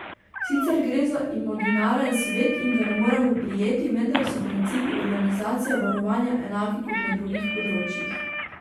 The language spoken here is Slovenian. Sicer gre za imaginaren svet in ga ne moremo prijeti, vendar so principi organizacije varovanja enaki kot na drugih področjih.